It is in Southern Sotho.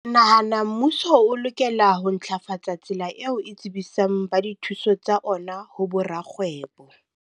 Nahana mmuso o lokela ho ntlafatsa tsela eo e tsebisang ba dithuso tsa ona ho bo rakgwebo.